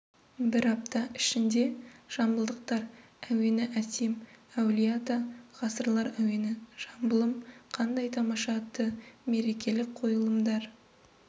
бір апта ішінде жамбылдықтар әуені әсем әулие ата ғасырлар әуені жамбылым қандай тамаша атты мерекелік қойылымдар